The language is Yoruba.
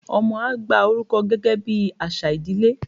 ọmọ a gba oruko gẹgẹ bi aṣa ìdílé